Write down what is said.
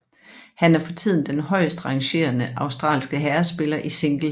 Han er for tiden den højest rangerende australske herrespiller i single